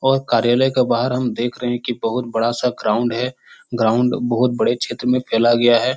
और कार्यालय के बाहर हम देख रहे हैं की बहुत बड़ा-सा ग्राउंड हैं ग्राउंड बहुत बड़े क्षेत्र मे फैला गया हैं।